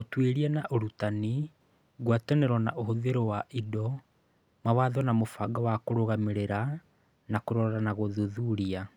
Ũtuĩria na ũrutani, ngwatanĩro na ũhũthĩri wa indo, mawatho na mũbango wa kũrũgamĩrĩra na kũrora na gũthuthuria